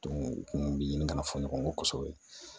u kun bi ɲini ka fɔ ɲɔgɔn kɔ kosɛbɛ